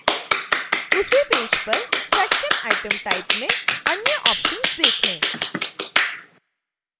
उसी पेज पर section item type में अन्य ऑप्शन्स देखें